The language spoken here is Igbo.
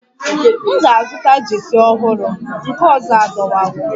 M ga-azụta Jeesi ọhụrụ, nke ọzọ adọwawo